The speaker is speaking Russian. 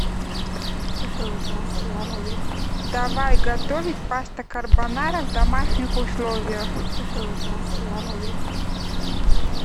давай готовить паста карбонара в домашних условиях